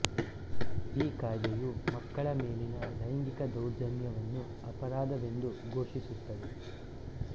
ಈ ಕಾಯ್ದೆಯು ಮಕ್ಕಳ ಮೇಲಿನ ಲೈಂಗಿಕ ದೌರ್ಜನ್ಯವನ್ನು ಅಪರಾಧವೆಂದು ಘೋಷಿಸುತ್ತದೆ